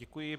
Děkuji.